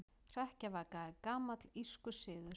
Hrekkjavaka er gamall írskur siður.